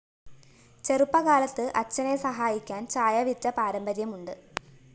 ചെറുപ്പകാലത്ത് അച്ഛനെ സഹായിക്കാന്‍ ചായ വിറ്റ പാരമ്പര്യമുണ്ട്